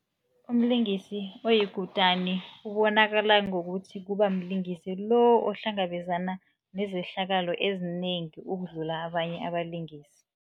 Umlingisi oyikutani ubonakala ngokuthi, kuba mlingisi lo ohlangabezana nezehlakalo ezinengi, ukudlula abanye abalingisi.